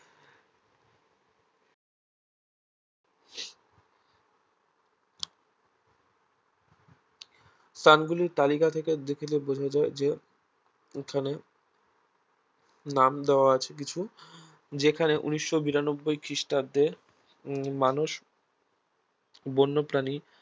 স্থানগুলির তালিকা থেকে দেখলে বোঝা যায় যে এখানে নাম দেওয়া আছে কিছু যেখানে ঊনিশ বিরানব্বই খ্রিস্টাব্দে উম মানুষ বন্যপ্রাণী